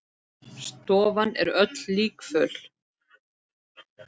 Stofan er öll líkföl.